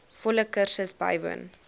volle kursus bywoon